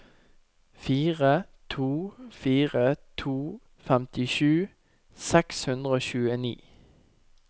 fire to fire to femtisju seks hundre og tjueni